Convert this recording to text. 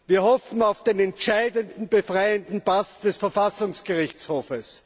Wir hoffen auf den entscheidenden, befreienden Pass des Verfassungsgerichtshofs.